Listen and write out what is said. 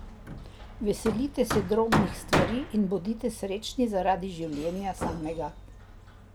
Veselite se drobnih stvari in bodite srečni zaradi življenja samega.